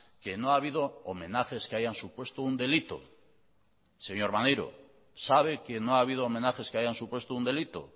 que no ha habido homenajes que hayan supuesto un delito señor maneiro sabe que no ha habido homenajes que hayan supuesto un delito